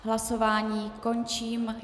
Hlasování končím.